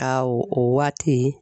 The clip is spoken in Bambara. A o waati.